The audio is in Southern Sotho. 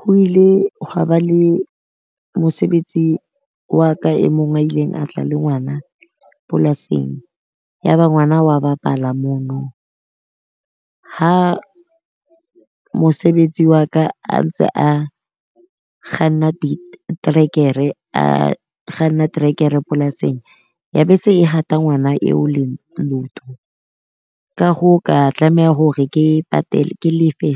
Ho ile hwa ba le mosebetsi wa ka e mong a ileng a tla le ngwana polasing. Ya ba ngwana wa bapala mono. Ha mosebetsi wa ka a ntse a ntse a kganna trekere a kganna trekere polasing, ya be se e hata ngwana eo leoto. Ka hoo ka tlameha hore ke patele ke lefe